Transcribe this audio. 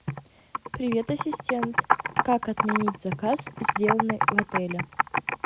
привет ассистент как отменить заказ сделанный в отеле